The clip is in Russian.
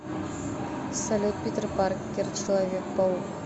салют питер паркер человек паук